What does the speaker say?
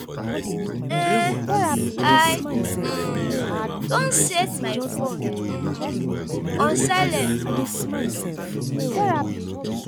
um I um don set my phone um on silent.